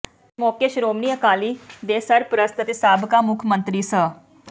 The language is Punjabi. ਇਸ ਮੌਕੇ ਸ਼੍ਰੋਮਣੀ ਅਕਾਲੀ ਦੇ ਸਰਪ੍ਰਸਤ ਅਤੇ ਸਾਬਕਾ ਮੁੱਖ ਮੰਤਰੀ ਸ